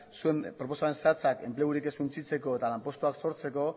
zuen proposamen zehatzak enplegurik ez suntsitzeko eta lanpostuak sortzeko